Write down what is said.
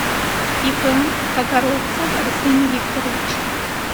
ип кокаровцев арсений викторович